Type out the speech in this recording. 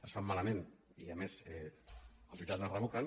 es fan mala·ment i a més els jutjats les revoquen